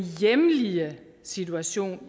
hjemlige situation